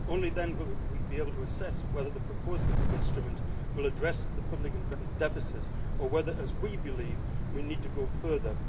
Only then will we be able to assess whether the proposed instrument will address the public investment deficit or whether, as we believe, we need to go further.